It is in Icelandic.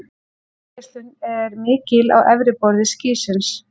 Útgeislun er mikil á efra borði skýsins.